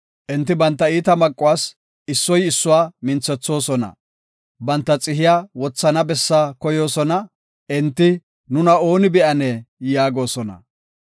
Enti banta iita maquwas issoy issuwa minthethoosona. Banta xihiya wothana bessa koyoosona; enti, “Nuna ooni be7anee?” yaagosona.